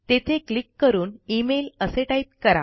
तेथे क्लिक करून इमेल असे टाईप करा